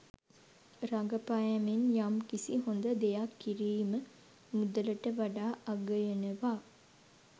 රඟපෑමෙන් යම් කිසි හොඳ දෙයක් කිරීම මුදලට වඩා අගයනවා.